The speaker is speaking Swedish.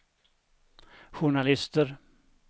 journalister